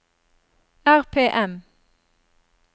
RPM